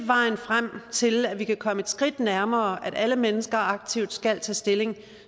vejen frem til at vi kan komme et skridt nærmere at alle mennesker aktivt skal tage stilling